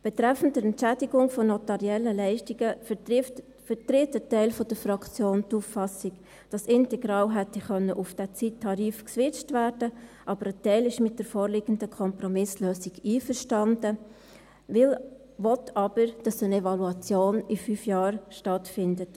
Betreffend die Entschädigung von notariellen Leistungen vertritt ein Teil der Fraktion die Auffassung, dass integral auf diesen Zeittarif hätte geswitcht werden können, aber ein Teil ist mit der vorliegenden Kompromisslösung einverstanden, will aber, dass in fünf Jahren eine Evaluation stattfindet.